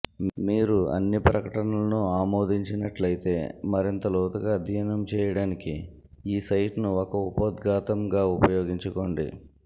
మీరు అన్ని ప్రకటనలను ఆమోదించినట్లయితే మరింత లోతుగా అధ్యయనం చేయటానికి ఈ సైట్ను ఒక ఉపోద్ఘాతంగా ఉపయోగించుకోండి